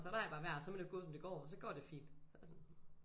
Så lader jeg bare være så må det jo gå som det går så går det fint så jeg sådan